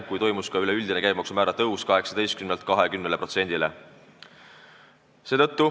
Siis toimus ka üleüldine käibemaksu määra tõus 18%-lt 20%-ni.